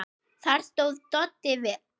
Þar stóð Doddi vel.